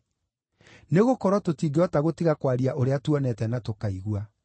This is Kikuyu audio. Nĩgũkorwo tũtingĩhota gũtiga kwaria ũrĩa tuonete na tũkaigua.”